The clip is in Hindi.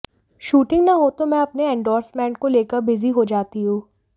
शूटिंग न हो तो मैं अपने इंडोर्समेंट को लेकर बिजी हो जाती हूं